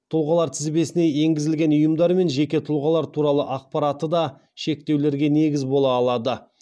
тұлғалар тізбесіне енгізілген ұйымдар мен жеке тұлғалар туралы ақпараты да шектеулерге негіз бола алады